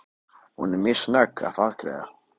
Hún var mjög snögg að afgreiða.